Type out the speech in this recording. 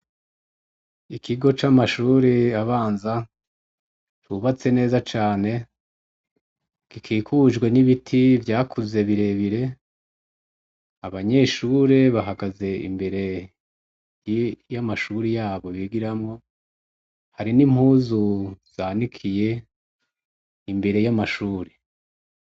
Ikigo camashure abanza cubatse neza cane gikikujwe nibiti vyakuze birebire abanyeshure bahagaze imbere yamashure yabo bigiramwo hari nimpuzu zanikiye imbere yamashure